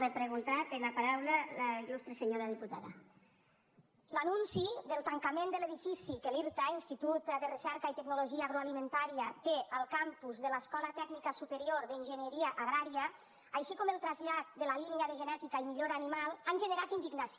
l’anunci del tancament de l’edifici que l’irta institut de recerca i tecnologia agroalimentàries té al campus de l’escola tècnica superior d’enginyeria agrària així com el trasllat de la línia de genètica i millora animal han generat indignació